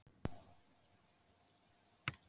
Og þess var beðið með eftirvæntingu allt árið.